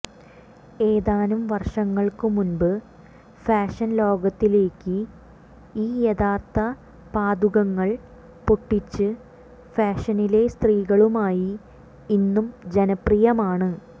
ഏതാനും വർഷങ്ങൾക്കു മുൻപ് ഫാഷൻ ലോകത്തിലേക്ക് ഈ യഥാർത്ഥ പാദുകങ്ങൾ പൊട്ടിച്ച് ഫാഷനിലെ സ്ത്രീകളുമായി ഇന്നും ജനപ്രിയമാണ്